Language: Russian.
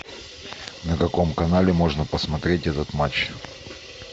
на каком канале можно посмотреть этот матч